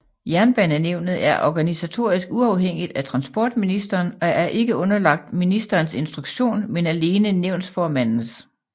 Jernbanenævnet er organisatorisk uafhængigt af transportministeren og er ikke underlagt ministerens instruktion men alene nævnsformandens